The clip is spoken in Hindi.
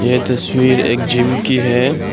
ये तस्वीर एक जीम की है।